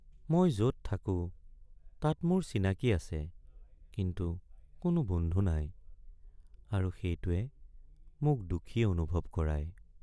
মই য'ত থাকো তাত মোৰ চিনাকি আছে কিন্তু কোনো বন্ধু নাই আৰু সেইটোৱে মোক দুখী অনুভৱ কৰায়।